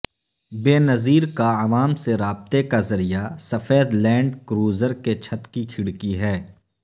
بینظیر کا عوام سے رابطے کا ذریعہ سفید لینڈ کروزر کے چھت کی کھڑکی ہے